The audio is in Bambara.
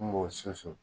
N b'o susu